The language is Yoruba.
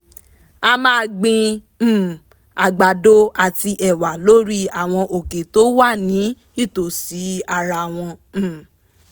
a máa gbin um àgbàdo àti ẹ̀wà lórí àwọn òkè tó wà ní ìtòsí ara wọn um